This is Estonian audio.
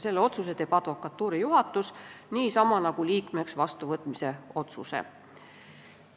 Selle otsuse teeb advokatuuri juhatus niisamuti nagu liikmeks vastuvõtmise otsuse.